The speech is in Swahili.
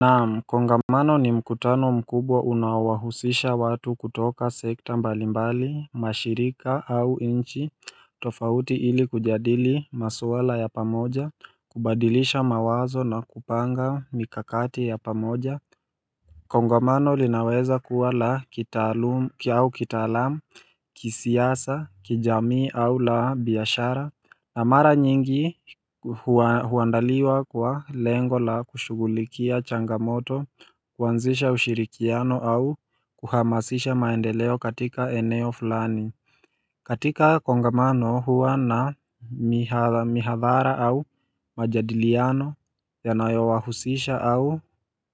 Naam, kongamano ni mkutano mkubwa unaowahusisha watu kutoka sekta mbalimbali, mashirika au nchi, tofauti ili kujadili masuala ya pamoja, kubadilisha mawazo na kupanga mikakati ya pamoja Kongamano linaweza kuwa la kitaalamu, kisiasa, kijamii au la biashara na mara nyingi huandaliwa kwa lengo la kushugulikia changamoto, kuanzisha ushirikiano au kuhamasisha maendeleo katika eneo fulani katika kongamano huwa na mihadhara au majadiliano ya nayo wahusisha au